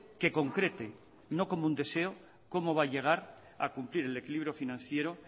que concrete no como un deseo cómo va a llegar a cumplir el equilibrio financiero